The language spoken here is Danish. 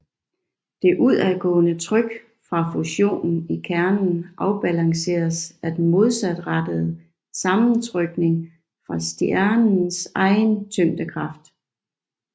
Det udadgående tryk fra fusionen i kernen afbalanceres af den modsat rettede sammentrykning fra stjernens egen tyngdekraft